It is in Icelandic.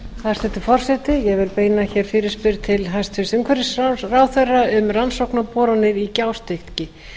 hæstvirtur forseti ég vil beina hér fyrirspurn til hæstvirts umhverfisráðherra um rannsóknaboranir í gjástykki